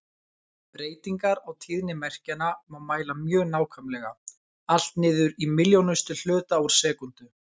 Breytingar á tíðni merkjanna má mæla mjög nákvæmlega, allt niður í milljónustu hluta úr sekúndu.